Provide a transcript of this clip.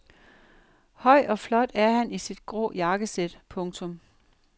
Høj og flot er han i sit grå jakkesæt. punktum